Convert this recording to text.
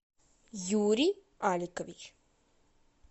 юрий аликович